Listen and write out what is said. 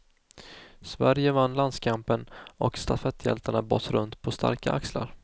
Sverige vann landskampen och stafetthjältarna bars runt på starka axlar.